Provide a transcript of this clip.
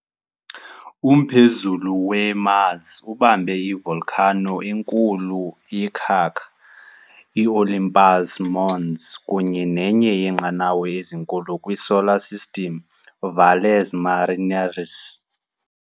Umphezulu we - Mars ubamba i -volcano enkulu yekhaka, i-Olympus Mons, kunye nenye yeenqanawa ezinkulu kwi-Solar System, Valles Marineris.